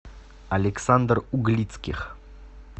александр углицких